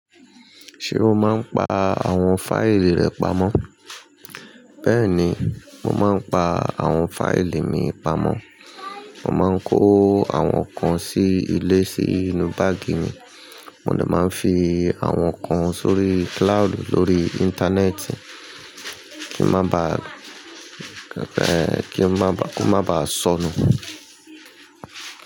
Ṣé o máa ń pa àwọn fáìlì rẹ pamọ́? Bẹ́ẹ̀ni, mo máa ń pa àwọn fáìlì mi pamọ́. Mo máa ń kó àwọn kan sí ilé sí inú báàgì mi. Mo lè máa ń fi àwọn kan sórí cloud lórí íńtánẹ́ẹ̀tì. Kí ó má ba sọnù.